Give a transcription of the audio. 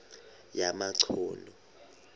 yamachunu